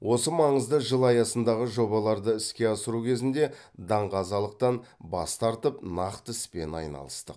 осы маңызды жыл аясындағы жобаларды іске асыру кезінде даңғазалықтан бас тартып нақты іспен айналыстық